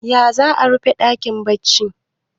ya za a rufe dakin baccin